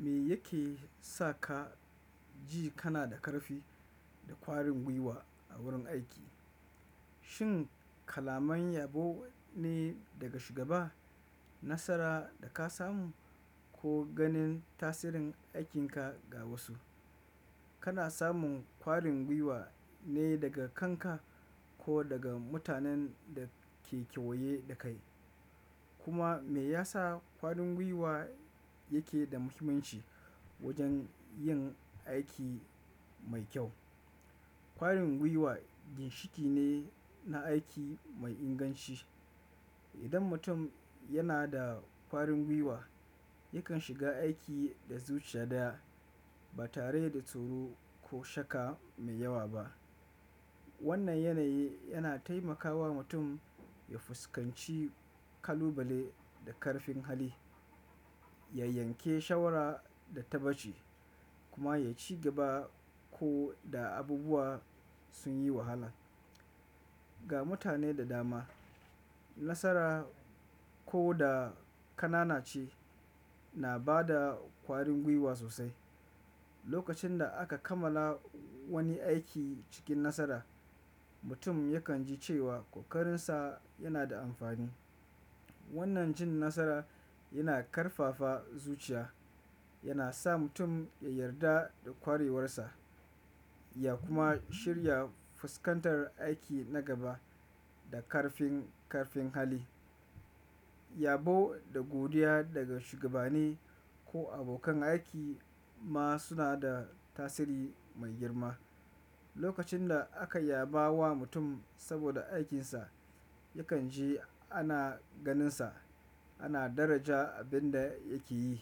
Me yake sa ka ji kana da ƙarfi da ƙwarin gwiwa a wurin aiki? Shin kalaman yabo ne daga shugaba, nasara da ka samu ko ganin tasirin aikinka ga wasu? Kana samun ƙwarin gwiwa ne daga kanka ko daga mutanen da ke kewaye da kai? Kuma me yasa ƙwarin gwiwa yake da muhimmanci wajen yin aiki mai kyau? Ƙwarin gwiwa ginshiƙi ne na aiki mai inganci. Idan mutum yana da ƙwarin gwiwa, yakan shiga aiki da zuciya ɗaya ba tare da tsoro ko shakka mai yawa ba. Wannan yanayi yana taimakawa mutum ya fuskanci kalubale da ƙarfin hali, ya yanke shawara da tabaci kuma ya ci gaba ko da abubuwa sun yi wahala. Ga mutane da dama, nasara ko da ƙanana ce na bada ƙwarin gwiwa sosai. Lokacin da aka kammala wani aiki cikin nasara, mutum yakan ji cewa ƙoƙarinsa yana da amfani. Wannan jin nasara yana ƙarfafa zuciya, yana sa mutum ya yarda da ƙwarewarsa ya kuma shirya fuskantar aiki na gaba da ƙarfin ƙarfin hali. Yabo da godiya daga shugabanni ko abokan aiki ma suna da tasiri mai girma. Lokacin da aka yaba wa mutum saboda aikinsa, yakan ji ana ganinsa ana daraja abin da yake yi.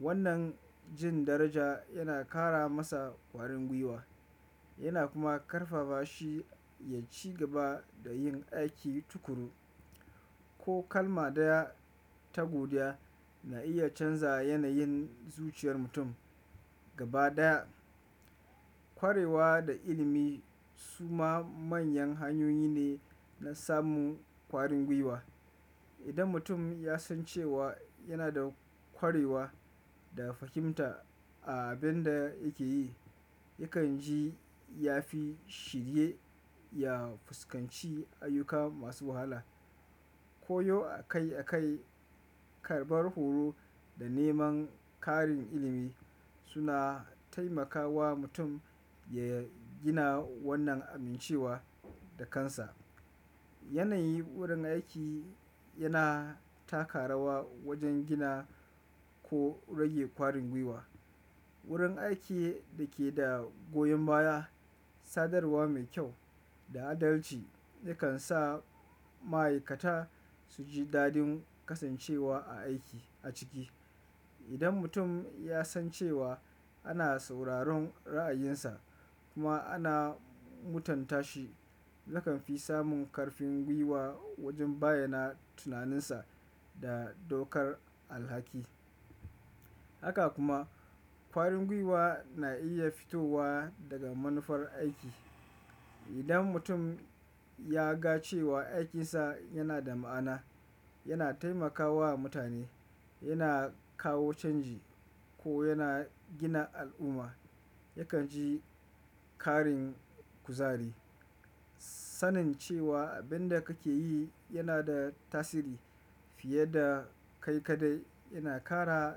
Wannan jin daraja yana ƙara masa ƙwarin gwiwa yana kuma ƙarfafa shi ya ci gaba da yin aiki tukuru. Ko kalma ɗaya ta godiya na iya canza yanayin zuciyar mutum gaba ɗaya. Ƙwarewa da ilimi suma manyan hanyoyi ne na samun ƙwarin gwiwa. Idan mutum ya san cewa yana da ƙwarewa da fahimta a abin da yake yi, yakan ji ya fi shirye ya fuskanci ayyuka masu wahala. Koyo akai akai, karɓar horo da neman ƙarin ilimi suna taimakawa mutum ya gina wannan amincewa da kansa. Yanayi wurin aiki yana taka rawa wajen gina ko rage ƙwarin gwiwa. Wurin aiki dake da goyon baya, sadarwa mai ƙyau da adalci yakan sa ma'aikata suji daɗin kasancewa a aiki a ciki. Idan mutum ya san cewa ana sauraron ra'ayinsa kuma ana mutunta shi, yakan fi samun ƙarfin gwiwa wajen bayyana tunaninsa da daukar alhaki. Haka kuma, ƙwarin gwiwa na iya fitowa daga manufar aiki. Idan mutum ya ga cewa aikinsa yana da ma'ana, yana taimakawa mutane, yana kawo canji ko yana gina al'umma, yakan ji ƙarin kuzari. Sanin cewa abin da kake yi yana da tasiri fiye da kai kaɗai yana ƙara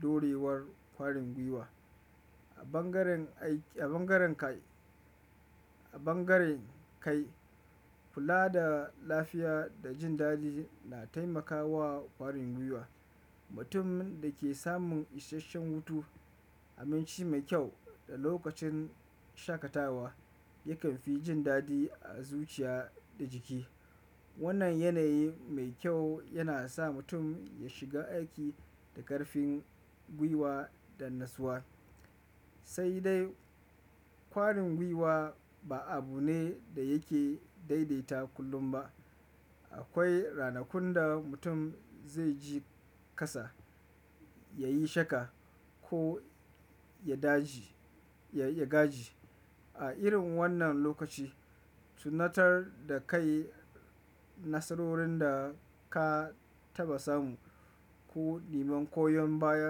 durewar ƙwarin gwiwa. A bangaren kai, kula da lafiya da jin daɗi na taimakawa ƙwarin gwiwa. Mutum dake samun isasshen hutu, aminci mai ƙyau da lokacin shakatawa yakan fi jin daɗi a zuciya da jiki. Wannan yanayi mai kyau yana sa mutum ya shiga aiki da ƙarfin gwiwa da nassuwa. Sai dai, ƙwarin gwiwa ba abu ne da yake daidaita kullum ba. Akwai ranakun da mutum zai ji ƙasa, yayi shakka ko ya gaji. A irin wannan lokaci, tunatar da kai nasarorin da ka taɓa samu ko neman koyon baya.